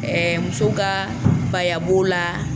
Ɛɛ musow ka baya b'o la.